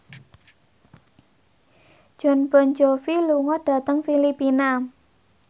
Jon Bon Jovi lunga dhateng Filipina